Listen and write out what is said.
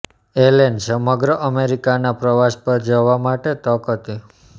એલેન સમગ્ર અમેરિકાના પ્રવાસ પર જવા માટે તક હતી